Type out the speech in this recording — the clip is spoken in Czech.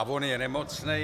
A on je nemocný...